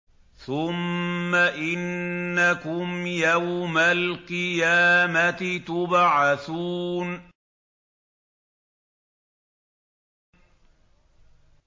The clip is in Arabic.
ثُمَّ إِنَّكُمْ يَوْمَ الْقِيَامَةِ تُبْعَثُونَ